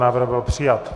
Návrh byl přijat.